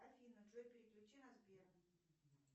афина джой переключи на сбер